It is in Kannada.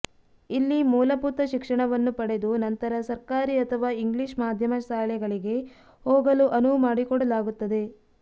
ಇಲ್ಲಿ ಮೂಲಭೂತ ಶಿಕ್ಷಣವನ್ನು ಪಡೆದು ನಂತರ ಸರ್ಕಾರಿ ಅಥವಾ ಇಂಗ್ಲಿಷ್ ಮಾಧ್ಯಮ ಶಾಲೆಗಳಿಗೆ ಹೋಗಲು ಅನುವು ಮಾಡಿಕೊಡಲಾಗುತ್ತದೆ